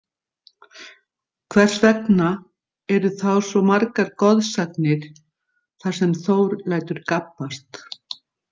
Hvers vegna eru þá svo margar goðsagnir þar sem Þór lætur gabbast?